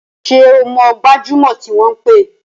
Ṣé o mọ gbajúmọ̀ tí wọ́n pè?